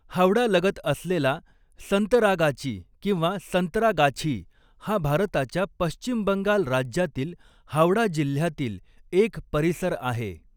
हावडा लगत असलेला संतरागाची किंवा संतरागाछी, हा भारताच्या पश्चिम बंगाल राज्यातील हावडा जिल्ह्यातील एक परिसर आहे.